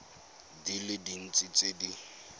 di le dintsi tse di